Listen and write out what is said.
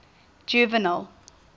juvenal